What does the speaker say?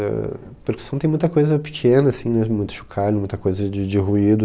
Eh, percussão tem muita coisa pequena, assim, mesmo, muito chocalho, muita coisa de de ruído.